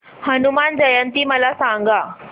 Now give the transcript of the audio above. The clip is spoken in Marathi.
हनुमान जयंती मला सांगा